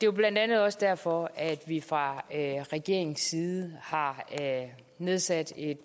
jo blandt andet også derfor at vi fra regeringens side har nedsat en